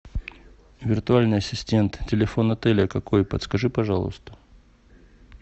виртуальный ассистент телефон отеля какой подскажи пожалуйста